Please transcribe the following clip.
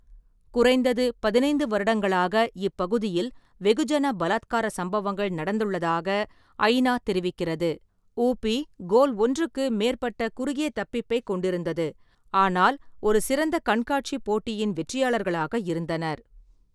குறைந்தது பதினைந்து வருடங்களாக இப்பகுதியில் வெகுஜன பலாத்கார சம்பவங்கள் நடந்துள்ளதாக ஐ. நா. தெரிவிக்கிறது. உ. பி. கோல் ஒன்றுக்கு மேற்பட்ட குறுகிய தப்பிப்பைக் கொண்டிருந்தது, ஆனால் ஒரு சிறந்த கண்காட்சி போட்டியின் வெற்றியாளர்களாக இருந்தனர்.